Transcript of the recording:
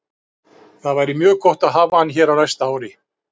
Það væri mjög gott að hafa hann hér á næsta ári.